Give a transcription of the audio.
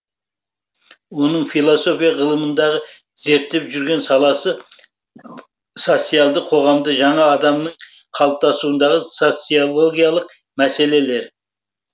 оның философия ғылымында зерттеп жүрген саласы социалды қоғамда жаңа адамның қалыптасуындағы социологиялық мәселелер